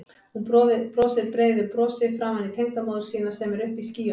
Hún brosir breiðu brosi framan í tengdamóður sína sem er uppi í skýjunum.